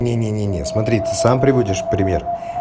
нет нет нет нет смотрите сам приводишь в пример